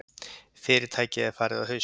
Fyrirtækið er farið á hausinn.